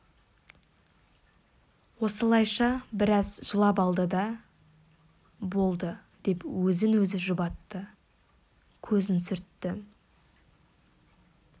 осылайша біраз жылап алды да болды деп өзін-өзі жұбатты көзін сүртті